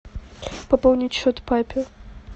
пополнить счет папе